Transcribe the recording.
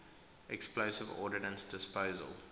explosive ordnance disposal